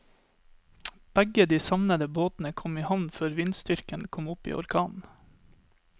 Begge de savnede båtene kom i havn før vindstyrken kom opp i orkan.